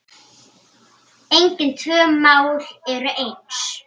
Engin tvö mál eru eins.